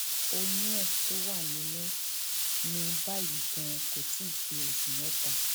oyún ẹ tó wà nínú mi báyìí ganan kò tí ì pé oṣù mẹta